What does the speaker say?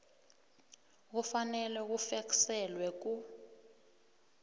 kufanele bufekselwe ku